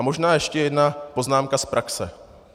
A možná ještě jedna poznámka z praxe.